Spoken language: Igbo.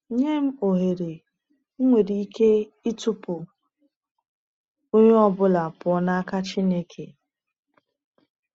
Nye m ohere, m nwere ike ịtụpụ onye ọ bụla pụọ n’aka Chineke.